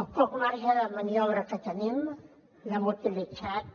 el poc marge de maniobra que tenim l’hem utilitzat